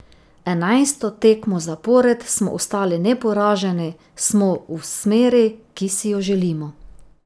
Enajsto tekmo zapored smo ostali neporaženi, smo v smeri, ki si jo želimo.